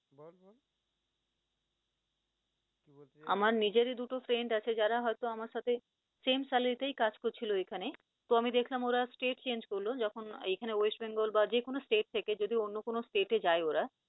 আমার নিজেরই দুটো friend আছে যারা হয়তো আমার সাথে same salary তে কাজ করছিল এখানে, তো আমি দেখলাম ওরা stage change করল যখন এখানে west bengal বা যেকোনো state থেকে অন্য কোন state এ যায় ওরা